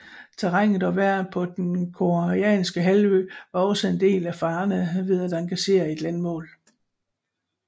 Terrænet og vejret på den koreanske halvø var også en del af farerne ved at engagere et landmål